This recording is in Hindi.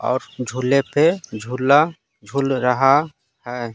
और झूले पे झूला झूल रहा है।